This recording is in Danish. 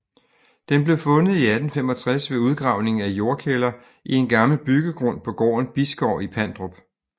Den blev fundet i 1855 ved udgravning af jordkælder i en gammel byggegrund på gården Bisgård i Pandrup